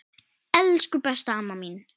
Elsku, besta amma mín.